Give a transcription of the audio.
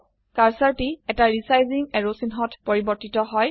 কাৰ্সাৰটি এটা resizing arrow চিহ্নত পৰিবৰ্তিত হয়